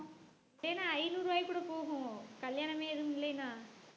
தினம் ஐநூறு ரூவாய்க்கு கூட போகும் கல்யாணமே எதுவும் இல்லைன்னா